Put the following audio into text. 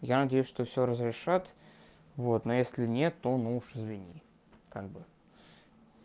я надеюсь что всё разрешат вот но если нет то ну уж извини как бы